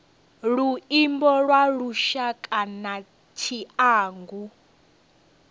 luimbo lwa lushaka na tshiangu